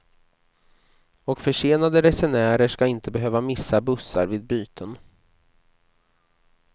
Och försenade resenärer skall inte behöva missa bussar vid byten.